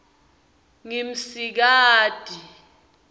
ngimsikati